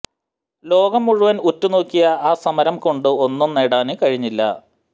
ലോകം മുഴുവന് ഉറ്റുനോക്കിയ ആ സമരം കൊണ്ട് ഒന്നും നേടാന് കഴിഞ്ഞില്ല